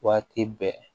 Waati bɛɛ